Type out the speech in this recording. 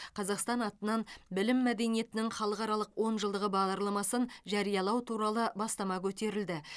қазақстан атынан білім мәдениетінің халықаралық онжылдығы бағдарламасын жариялау туралы бастама көтерілді